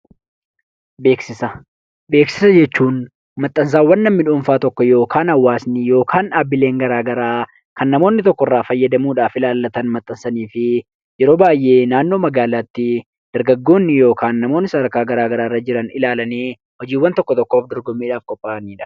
Beeksisa jechuun maxxansaawwan namni dhuunfaan tokko yookaan hawaasni yookaan dhaabbileen gara garaa kan namoonni tokko irraa fayyadamuudhaaf ilaallatan maxxanfataniifi yeroo baay'ee naannoo magaalaatti dargaggoonni yookaan namoonni sadarkaa gara garaa irra jiran ilaalanii hojiiiwwan tokko tokkoof dorgommiidhaaf qopha'anidha.